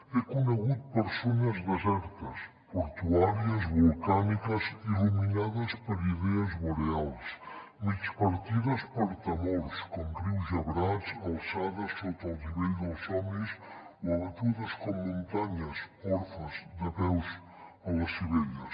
he conegut persones desertes portuàries volcàniques il·luminades per idees boreals migpartides per temors com rius gebrats alçades sota el nivell dels somnis o abatudes com muntanyes orfes de peus a les clivelles